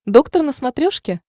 доктор на смотрешке